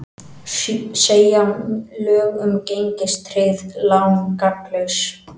Segja lög um gengistryggð lán gagnslaus